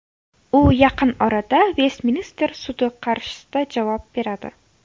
U yaqin orada Vestminster sudi qarshisida javob beradi.